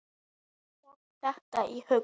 Hverjum datt þetta í hug?